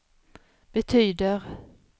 betyder